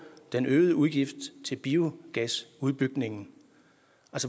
den øgede udgift til biogasudbygningen